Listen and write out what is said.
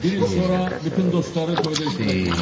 Bir il sonra bütün dostları toyda iştirak etmişdi.